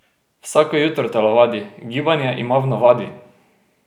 Vsako jutro telovadi, gibanje ima v navadi!